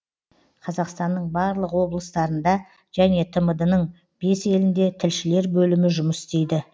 қазақстанның барлық облыстарында және тмд ның бес елінде тілшілер бөлімі жұмыс істейді